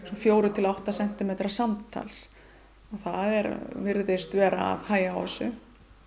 fjórir til átta sentimetrar samtals og það virðist vera að hægja á þessu